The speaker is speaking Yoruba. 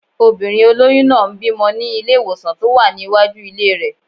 Obìnrin olóyún náà ń bímọ ní ilé-ìwòsàn tó wà ní iwájú ilé rẹ̀